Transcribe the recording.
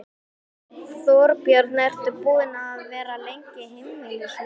Þorbjörn: Ertu búinn að vera lengi heimilislaus?